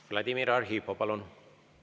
Vladimir Arhipov, palun!